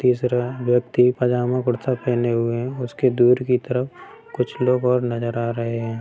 तीसरा व्यक्ति पैजामा कुर्ता पहने हुए है उसकी दुर तरफ कुछ लोग और नजर आ रहे है।